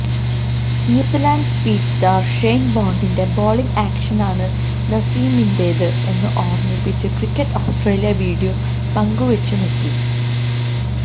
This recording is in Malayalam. ന്യൂസിലാന്ഡ് സ്പീഡ് സ്റ്റാര് ഷെയ്ന് ബോണ്ടിന്റെ ബൌളിങ് ആക്ഷനാണ് നസീമിന്റേത് എന്ന് ഓര്മിപ്പിച്ച് ക്രിക്കറ്റ് ഓസ്ട്രേലിയ വീഡിയോ പങ്കുവെച്ചുമെത്തി